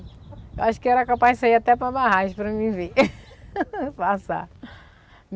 Eu acho que eu era capaz de sair até para a barragem para me ver passar.